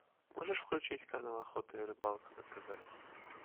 можешь включить канал охота и рыбалка на тв